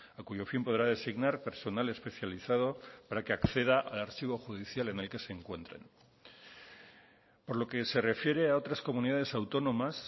a cuyo fin podrá designar personal especializado para que acceda al archivo judicial en el que se encuentren por lo que se refiere a otras comunidades autónomas